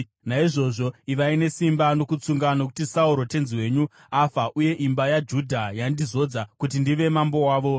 Naizvozvo ivai nesimba nokutsunga, nokuti Sauro tenzi wenyu afa, uye imba yaJudha yandizodza kuti ndive mambo wavo.”